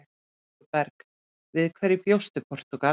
Jói Berg: Við hverju bjóst Portúgal?